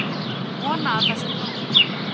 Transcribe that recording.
Vona að það sé nóg.